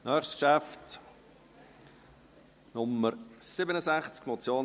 Das nächste Geschäft trägt die Traktandennummer 67.